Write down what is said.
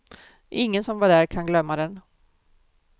Ingen som var där kan glömma den.